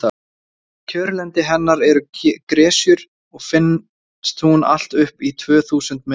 kjörlendi hennar eru gresjur og finnst hún allt upp í tvö þúsund metra hæð